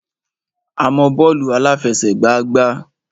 Mo mọ bọ́ọ̀lù àláfẹsẹ̀gbá gbá.